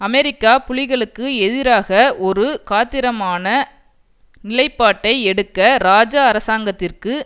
America புலிகளுக்கு எதிராக ஒரு காத்திரமான நிலைப்பாட்டை எடுக்க இராஜா அரசாங்கத்திற்கு